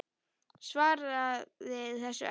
Svaraði þessu ekki.